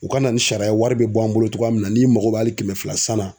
U ka na ni sariya wari be bɔ an bolo togoya min na n'i mago b'a ali kɛmɛ fila san na